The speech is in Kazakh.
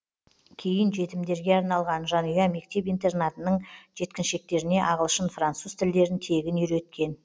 кейін жетімдерге арналған жанұя мектеп интернатының жеткіншектеріне ағылшын француз тілдерін тегін үйреткен